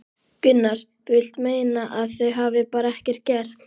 Gunnar: Þú vilt meina að þau hafi bara ekkert gert?